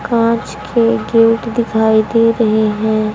कांच के गेट दिखाई दे रहे हैं।